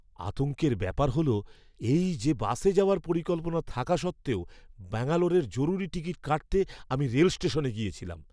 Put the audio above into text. আতঙ্কের ব্যাপার হলো এই যে, বাসে যাওয়ার পরিকল্পনা থাকা সত্ত্বেও ব্যাঙ্গালোরের জরুরি টিকিট কাটতে আমি রেল স্টেশনে গেছিলাম।